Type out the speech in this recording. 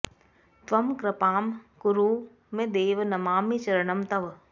त्वं कृपां कुरु मे देव नमामि चरणं तव